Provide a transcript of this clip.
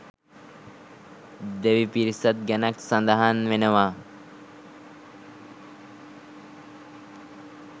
දෙවි පිරිසක් ගැනත් සඳහන් වෙනවා.